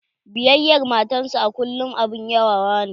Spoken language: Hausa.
Biyayar matar sa a kullym abun yabawa ne.